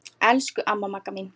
Elsku amma Magga mín.